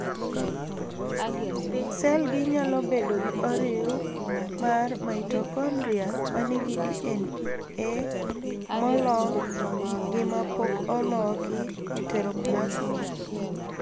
Sel gi nyalo bedo gi oriw mar mitokondria manigi DNA molok gi ma pok oloki (heteroplasmy).